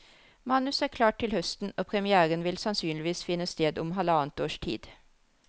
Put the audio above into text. Manus er klart til høsten, og premiéren vil sannsynligvis finne sted om halvannet års tid.